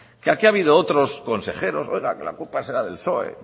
aquí ha habido otros consejeros oiga la culpa será del psoe